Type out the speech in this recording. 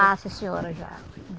Já, sim senhora, já.